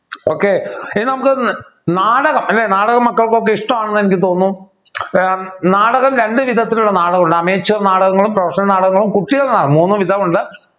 okay ഇനി നമുക്ക് ഒന്ന് നാടകം അല്ലേ നാടകം മക്കൾക്കൊക്കെ ഇഷ്ടമാണെന്ന് എനിക്ക് തോന്നുന്നു ഏർ നാടകം രണ്ടുവിധത്തിലുള്ള നാടകമുണ്ട് ameture നാടകങ്ങളും professional നാടകങ്ങളും കുട്ടികളുടെ നാടകം മൂന്നുവിധമുണ്ട്